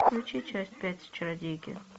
включи часть пять чародейки